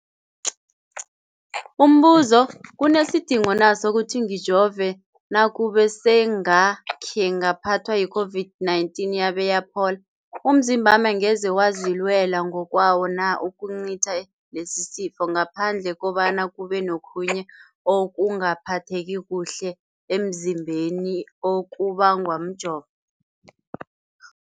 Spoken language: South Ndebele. Umbuzo, kunesidingo na sokuthi ngijove nakube sengakhe ngaphathwa yi-COVID-19 yabe yaphola? Umzimbami angeze wazilwela ngokwawo na ukucitha lesisifo, ngaphandle kobana kube nokhunye ukungaphatheki kuhle emzimbeni okubangwa mjovo?